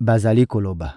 bazali koloba: